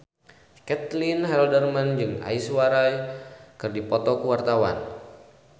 Caitlin Halderman jeung Aishwarya Rai keur dipoto ku wartawan